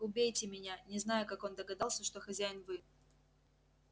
убейте меня не знаю как он догадался что хозяин вы